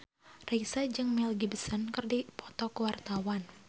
Raisa jeung Mel Gibson keur dipoto ku wartawan